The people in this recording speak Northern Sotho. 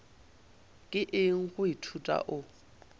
ke eng go ithuta o